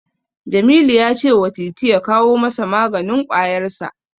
Jamilu ya cewa Titi ya kawo masa maganin ƙwayarsa.